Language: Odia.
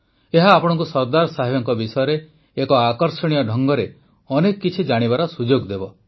ଏହା ଆପଣଙ୍କୁ ସର୍ଦ୍ଦାର ସାହେବଙ୍କ ବିଷୟରେ ଏକ ଆକର୍ଷଣୀୟ ଢଙ୍ଗରେ ଅନେକ କିଛି ଜାଣିବାର ସୁଯୋଗ ଦେବ